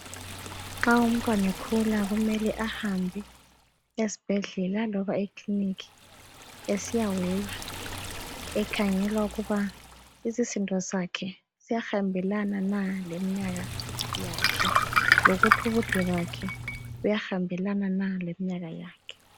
Nxa umntwana ekhula kumele ahambe esibhedlela loba eclinic esiyaweywa ekhangelwa ukuba isisindo sakhe siyahambelana na leminyaka yakhe lokuthi ubude bakhe buyahambelana na leminyaka yakhe.